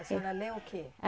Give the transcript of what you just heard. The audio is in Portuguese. A senhora lê o quê?